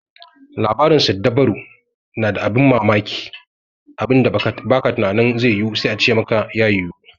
Labarin siddabaru na da abin bammamaki, abinda ba ka tunanin zai yiwu sai a ce maka ya yiwu.